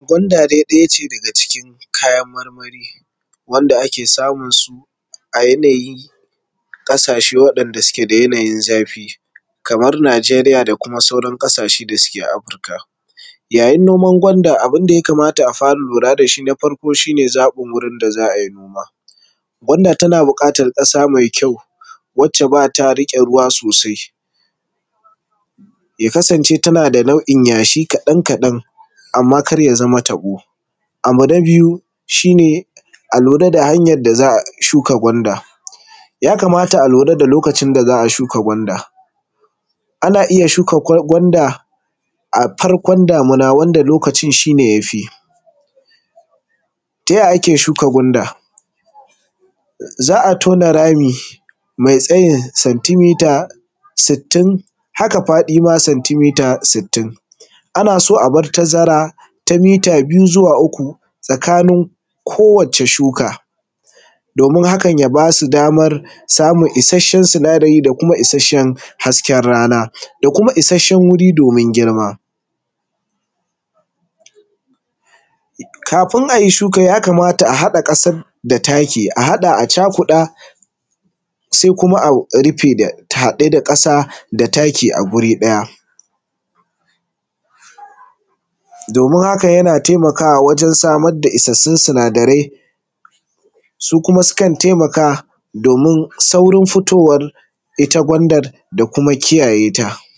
Gwanda dai ɗaya ce daga cikin kayan marmari wanda ake samun su a yanayin ƙasashe waɗanda suke da yanayin zafi kamar Najeriya da kuma sauran ƙasashe da suke Afirika. Yayin noman gwanda abin da ya kamata a fara lura da shi na farko shi ne zaɓin wurin da za a yi noma. Gwanda tana buƙatan ƙasa mai kyau wacce ba ta riƙe ruwa sosai, ya kasance tana da nau'in yashi kaɗan kaɗan amma kar ya zama taɓo. Abu na biyu shi ne a lura da hanyan da za a shuka gwanda. Ya kamata a lura da lokacin da za a shuka gwanda, a na iya shuka gwanda a farkon damuna wanda lokacin shi ne yafi. Taya ake shuka gwanda? Za a tona rami mai tsayin senti mita sitini, haka faɗi ma tsayin senti mita sitini. Ana so a bar tazara ta mita biyu zuwa uku tsakanin kowata shuka domin hakan ya ba su daman samun ishashshen sinadari da kuma ishashshen hasken rana, da kuma ishashshen wuri domin girma. Kafin ayi shuka ya kamata a haɗa ƙasar da taki, a haɗa a cakuɗa sai kuma a rufe a haɗe da ƙasa da taki a wri ɗaya. Domin haka yana taimakawa wurin samar da isassun sinadarai, su kuma sukan taimaka domin saurin fitowar ita gwanda da kuma kiyayeta.